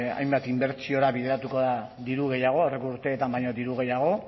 hainbat inbertsiora bideratuko da diru gehiago aurreko urteetan baino diru gehiago